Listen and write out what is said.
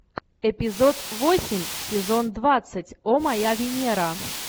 эпизод восемь сезон двадцать о моя венера